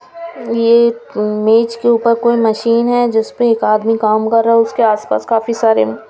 ये मेज के ऊपर कोई मशीन है जिसपे एक आदमी काम कर रहा है उसके आस पास काफी सारे--